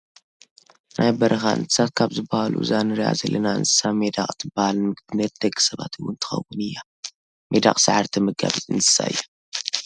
ናይ በረኻ እንሰሳት ካብ ዝበሃሉ እዛ እነረኣ ዘለና እንስሳ መዳቅ ትበሃል ንምግብነት ንደቂ ሰባት እውን ትኸውን እያ። ሜዳቅ ሳዕሪ ተመጋቢት እንስሳ እያ።